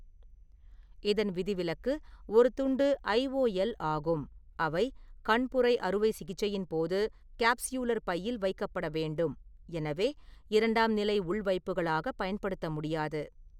இதன் விதிவிலக்கு ஒரு துண்டு ஐஓஎல் ஆகும், அவை கண்புரை அறுவை சிகிச்சையின் போது காப்ஸ்யூலர் பையில் வைக்கப்பட வேண்டும், எனவே இரண்டாம் நிலை உள்வைப்புகளாக பயன்படுத்த முடியாது.